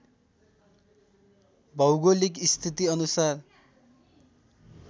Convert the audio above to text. भौगोलिक स्थिति अनुसार